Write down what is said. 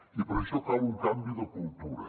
i per això cal un canvi de cultura